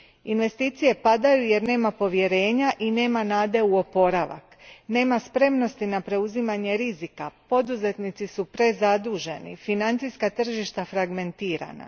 Investicije padaju jer nema povjerenja i nema nade u oporavak, nema spremnosti na preuzimanje rizika, poduzetnici su prezaduženi, financijska tržišta fragmentirana.